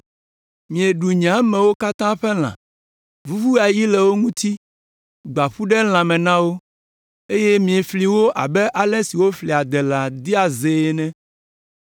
Mieɖu nye amewo katã ƒe lã, vuvu ayi le wo ŋuti, gbã ƒu ɖe lãme na wo eye miefli wo abe ale si woflia adelã dea zee ene.”